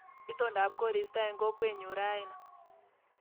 Itondap koristo eng kokwenyu raini